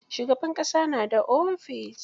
Shugaban ƙasa na da ofis.